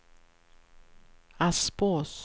Aspås